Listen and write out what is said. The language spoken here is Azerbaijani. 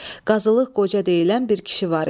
Qazılıq Qoca deyilən bir kişi var idi.